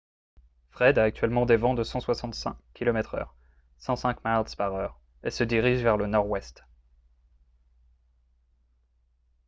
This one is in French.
fred a actuellement des vents de 165 km/h 105 miles par heure et se dirige vers le nord-ouest